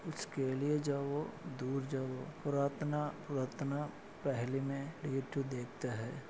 इसके लिए जवों दूर जवो पुरातना पुरातना पेहले मे डे तु देखते है।